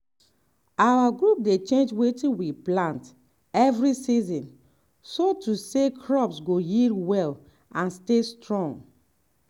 our group dey change wetin we plant every season so say crops go yield well and stay strong.